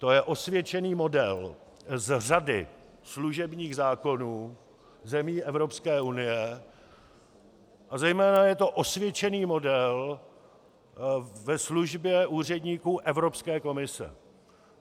To je osvědčený model z řady služebních zákonů zemí Evropské unie a zejména je to osvědčený model ve službě úředníků Evropské komise.